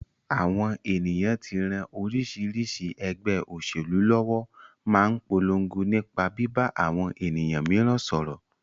Àwọn ènìyàn tí ń ran oríṣiríṣi ẹgbẹ́ òṣèlú lọ́wọ́ máa ń polongo nípa bíbá àwọn ènìyàn mìíràn sọ̀rọ̀